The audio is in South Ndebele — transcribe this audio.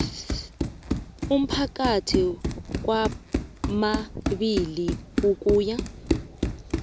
aphakathi kwamabili ukuya